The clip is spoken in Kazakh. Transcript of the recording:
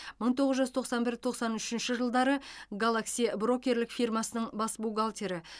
мың тоғыз жүз тоқсан бір тоқсан үшінші жылдары галакси брокерлік фирмасының бас бухгалтері